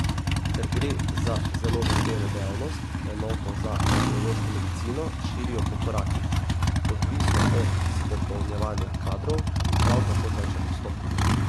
Ker gre za zelo zahtevno dejavnost, enoto za radiološko medicino širijo po korakih, odvisno od izpopolnjevanja kadrov, ki prav tako teče postopno.